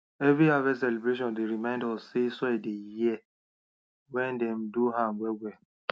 every harvest celebration dey remind us say soil they hear when dem do am well well